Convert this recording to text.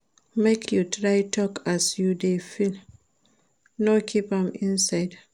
Make you try tok as you dey feel, no keep am inside.